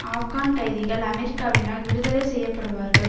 ஆப்கான் கைதிகள் அமெரிக்காவினால் விடுதலை செய்ய படுவார்கள்